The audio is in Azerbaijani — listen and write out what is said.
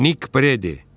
Nik Predi.